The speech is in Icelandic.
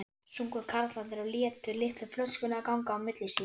sungu karlarnir og létu litlu flöskuna ganga á milli sín.